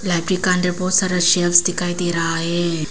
के अंदर बहुत सारा दिखाई दे रहा है।